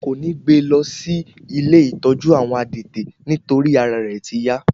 Wọn kò ní gbé e lọ sí ilé ìtọ́jú àwọn adẹ́tẹ̀ nítorí ara rẹ̀ ti yá